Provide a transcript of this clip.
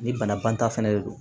Ni banabaatɔ fɛnɛ de don